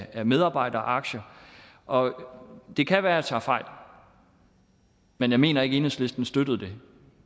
af medarbejderaktier og det kan være jeg tager fejl men jeg mener ikke enhedslisten støttede det